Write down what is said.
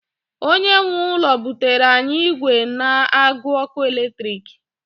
onye nwe ụlọ butere anyị igwe n agu ọkụ eletrik